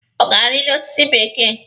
Ọ ga-arili ọsịsọ bekee?